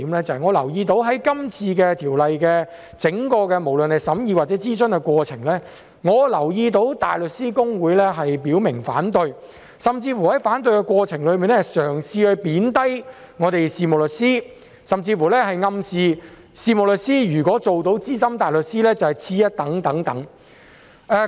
在這次《條例草案》的整項審議或諮詢過程中，我留意到大律師公會表明反對，並在反對期間嘗試貶低事務律師，甚至暗示事務律師如果做到資深大律師便是次一等。